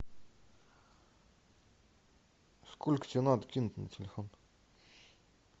сколько тебе надо кинуть на телефон